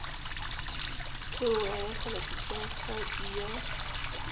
eo a akgela pitlahadi ya